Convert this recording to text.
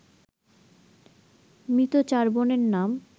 মৃত চার বোনের নাম